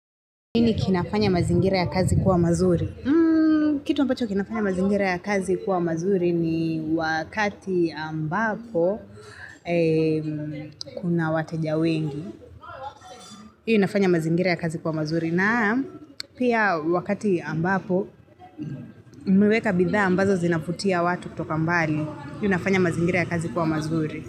Nini kinafanya mazingira ya kazi kuwa mazuri? Kitu mpacho kinafanya mazingira ya kazi kuwa mazuri ni wakati ambapo kuna wateja wengi. Hii inafanya mazingira ya kazi kuwa mazuri na pia wakati ambapo umeweka bidha ambazo zinavutia watu kutoka mbali. Hini nafanya mazingira ya kazi kuwa mazuri.